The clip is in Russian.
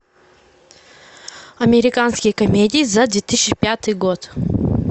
американские комедии за две тысячи пятый год